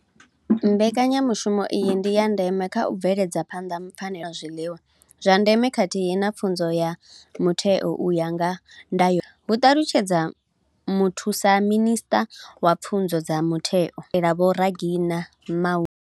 Mbekanyamushumo iyi ndi ya ndeme kha u bveledza phanḓa pfanelo dza vhagudi dza u wana zwiḽiwa zwa ndeme khathihi na pfunzo ya mutheo u ya nga ndayotewa, hu ṱalutshedza muthusaminisṱa wa pfunzo dza mutheo dkotela Vho Reginah Mhaule.